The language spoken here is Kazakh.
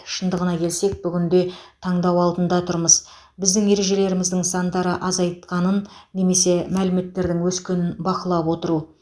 шындығына келсек бүгінде таңдау алдында тұрмыз біздің ережелеріміздің сандарды азайтқанын немесе мәліметтердің өскенін бақылап отыру